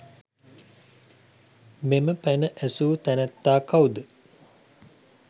මෙම පැන ඇසූ තැනැත්තා කවුද?